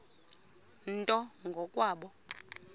nto ngo kwabo